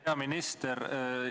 Hea minister!